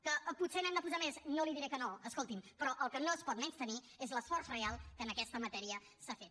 que potser n’hem de posar més no li diré que no escolti’m però el que no es pot menystenir és l’esforç real que en aquesta matèria s’ha fet